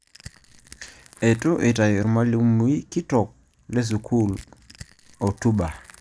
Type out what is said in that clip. Eitu itau ormalimui kitok le sukuul otuba